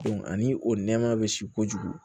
ani o nɛma bɛ si kojugu